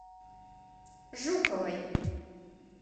жуковой